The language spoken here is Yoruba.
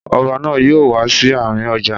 Ọba náà yóò wá sí àárín ọjà.